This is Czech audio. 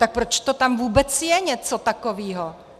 Tak proč to tam vůbec je něco takového?